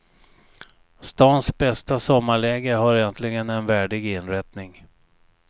Stans bästa sommarläge har äntligen en värdig inrättning.